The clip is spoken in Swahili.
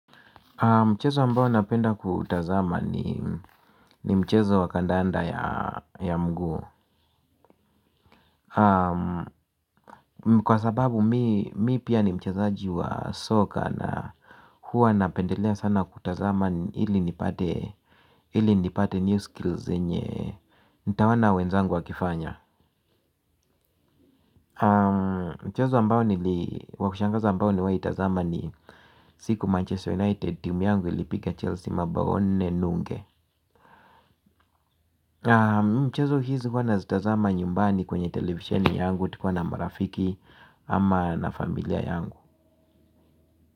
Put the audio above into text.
Mchezo ambao napenda kutazama ni mchezo wa kandanda ya mguu. Kwa sababu mimi pia ni mchezaji wa soka na huwa napendelea sana kutazama ili nipate new skills zenye nitawaona wenzangu wakifanya. Mchezo ambao nili wa kushangaza ambao niliwahi tazama ni siku Manchester United team yangu ilipiga Chelsea mabao nne nunge. Mchezo hizi huwa nazitazama nyumbani kwenye televisheni yangu. Tikuwa na marafiki ama na familia yangu.